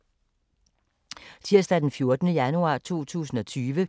Tirsdag d. 14. januar 2020